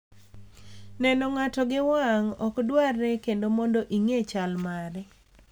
Neno ng’ato gi wang’ ok dwarre kendo mondo ing’e chal mare.